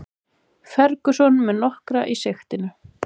Ferguson með nokkra í sigtinu